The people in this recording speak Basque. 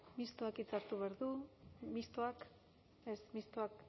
mistoak hitza hartu behar du mistoak ez mistoa